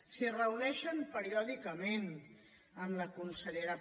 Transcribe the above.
s’hi reuneixen periòdicament amb la consellera